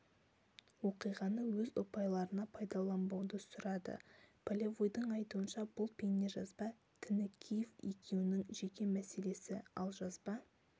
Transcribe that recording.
оқиғаны өз ұпайларына пайдаланбауды сұрады полевойдың айтуынша бұл бейнежазба тінікеев екеуінің жеке мәселесі ал жазба